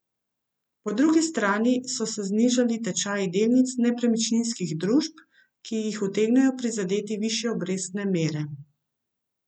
Po drugi strani so se znižali tečaji delnic nepremičninskih družb, ki jih utegnejo prizadeti višje obrestne mere.